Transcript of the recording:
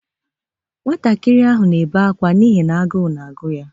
Nwantakịr ahụ na-ebe akwa n'ihi n'agụụ na-agụ ya.